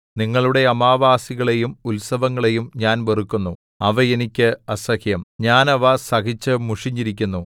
നിങ്ങളുടെ അമാവാസികളെയും ഉത്സവങ്ങളെയും ഞാൻ വെറുക്കുന്നു അവ എനിക്ക് അസഹ്യം ഞാൻ അവ സഹിച്ചു മുഷിഞ്ഞിരിക്കുന്നു